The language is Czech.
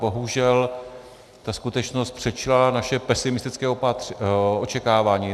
Bohužel ta skutečnost předčila naše pesimistické očekávání.